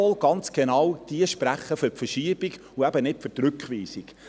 Jawohl, ganz genau diese sprechen für die Verschiebung und eben nicht für die Rückweisung.